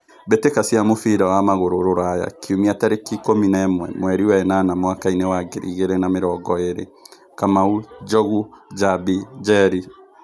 Mbĩ tĩ ka cia mũbira wa magũrũ Ruraya Kiumia tarĩ ki ikũmi na ĩ mwe mweri wenana mwakainĩ wa ngiri igĩ rĩ na mĩ rongo ĩ rĩ : Kamau, Njogu, Njambi, Njeri.